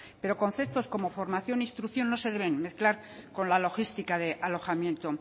pero conceptos como formación e instrucción no se deben mezclar con la logística de alojamiento